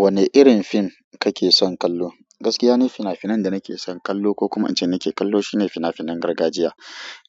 Wanne irin fim kake son kallo? Gaskiya ne fina-finan da nake son kallo ko kuma incin nake kallo shine fina-finan gargajiya.